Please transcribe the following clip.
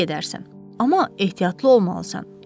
Təpəyə gedərsən, amma ehtiyatlı olmalısan.